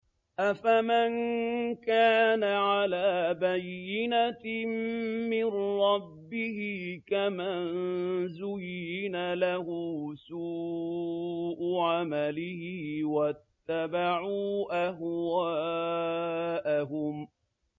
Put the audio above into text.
أَفَمَن كَانَ عَلَىٰ بَيِّنَةٍ مِّن رَّبِّهِ كَمَن زُيِّنَ لَهُ سُوءُ عَمَلِهِ وَاتَّبَعُوا أَهْوَاءَهُم